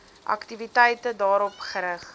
aktiwiteite daarop gerig